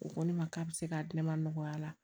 O ko ne ma k'a bɛ se k'a di ne ma nɔgɔya la